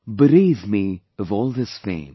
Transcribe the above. Bereave me of all this fame